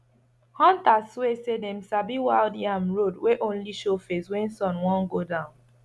hunters swear say dem sabi wild yam road wey only show face when sun wan go down